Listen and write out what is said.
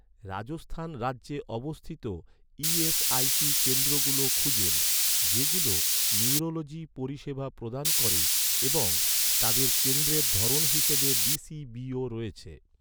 রাজস্থান রাজ্যে অবস্থিত, ইএসআইসি কেন্দ্রগুলো খুঁজুন, যেগুলো নিউরোলজি পরিষেবা প্রদান করে এবং তাদের কেন্দ্রের ধরন হিসাবে ডি.সি.বি.ও রয়েছে৷